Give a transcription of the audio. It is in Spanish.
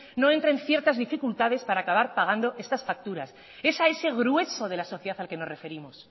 no entra en ciertas dificultades para acabar estas facturas es a ese grueso de la sociedad a la que nos referimos